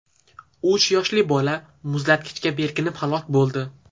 Uch yoshli bola muzlatkichga berkinib halok bo‘ldi.